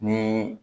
Ni